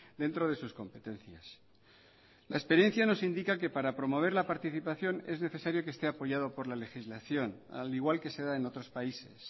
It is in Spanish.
dentro de sus competencias la experiencia nos indica que para promover la participación es necesario que esté apoyado por la legislación al igual que se da en otros países